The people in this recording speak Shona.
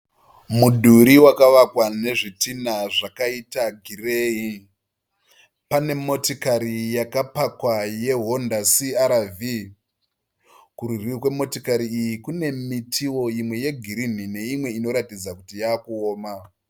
Mudhuri wakavakwa nezvitina zvakaita gireyi. Pane motikari yakapakwa yeHonda CRV. Kurudyi kwemotikari iyi kune mitiwo imwe yegirini neimwe inoratidza kuti yakuoma.